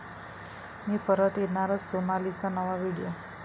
मी परत येणारच, सोनालीचा नवा व्हिडिओ